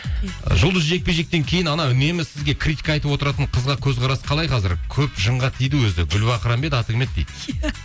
жұлдыз жекпе жектен кейін анау үнемі сізге критика айтып отыратын қызға көзқарас қалай қазір көп жынға тиді өзі гүлбахрам ба еді аты кім еді дейді иә